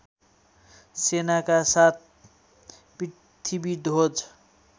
सेनाका साथ पृथ्वीध्वज